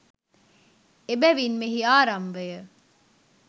එබැවින් මෙහි ආරම්භය